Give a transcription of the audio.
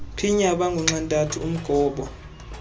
phinye abangunxantathu umgobo